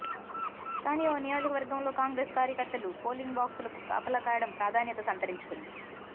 కానీ ఓ నియోజకవర్గంలో కాంగ్రెస్ కార్యకర్తలు పోలింగ్ బాక్సులకు కాపలా కాయడం ప్రాధాన్యత సంతరించుకుంది